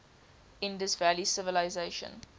indus valley civilisation